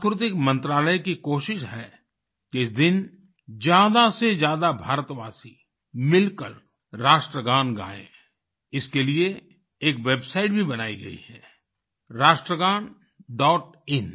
सांस्कृतिक मंत्रालय की कोशिश है कि इस दिन ज्यादासेज्यादा भारतवासी मिलकर राष्ट्रगान गाएँ इसके लिए एक वेबसाइट भी बनाई गई है राष्ट्रगानडॉटइन